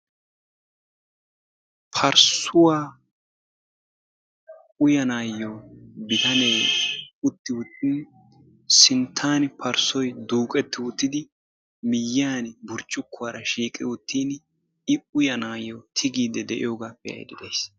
Parissuwa uyyanayo bitanee utti uttin sinttan parssoy duuqqeti uttidi miyyiyaan burccukuwaara shiiqqi uttin I uyyanayo tigiidi de'iyooga be'aydda days.